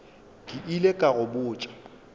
ke ile ka go botša